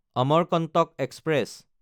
Amarkantak express